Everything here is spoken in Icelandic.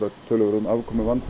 töluverðum